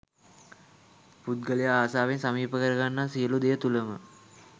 පුද්ගලයා ආසාවෙන් සමීප කර ගන්නා සියලු දෙය තුළම